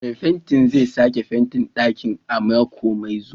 Mai fenti zai sake fentin ɗakin a mako mai zuwa.